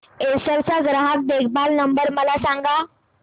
Acer चा ग्राहक देखभाल नंबर मला सांगा